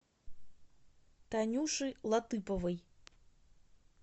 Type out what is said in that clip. танюши латыповой